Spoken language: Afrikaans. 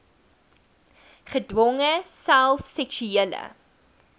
gedwonge self seksuele